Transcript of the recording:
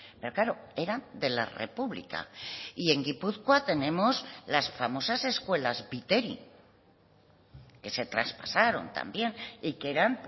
pero claro eran de la república y en gipuzkoa tenemos las famosas escuelas viteri que se traspasaron también y que eran